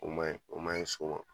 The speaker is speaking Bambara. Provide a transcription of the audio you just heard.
O man ɲi o man ɲi so ma.